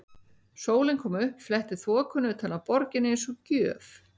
Sólin kom upp, fletti þokunni utan af borginni eins og gjöf.